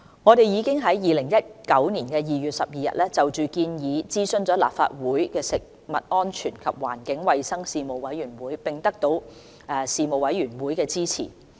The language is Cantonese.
我們已於2019年2月12日，就建議諮詢了立法會食物安全及環境衞生事務委員會，並得到事務委員會的支持。